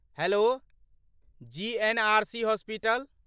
Hello, GNRC. Hospital?